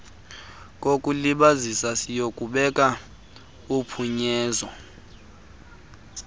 kokulibazisa siyakubeka uphunyezo